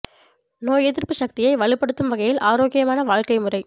நோய் எதிர்ப்பு சக்தியை வலுப்படுத்தும் வகையில் ஆரோக்கியமான வாழ்க்கை முறை